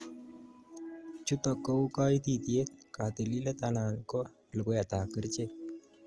Chutok kou kaititiet ,katililet anan ko luguetab kerchek